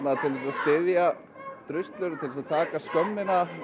styðja druslur og til að taka skömmina